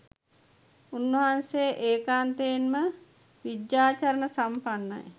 උන්වහන්සේ ඒකාන්තයෙන්ම විජ්ජාචරණ සම්පන්නයි